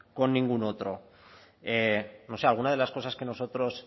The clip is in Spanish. con ningún otro no sé algunas de las cosas que nosotros